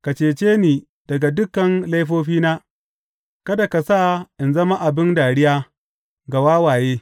Ka cece ni daga dukan laifofina; kada ka sa in zama abin dariya ga wawaye.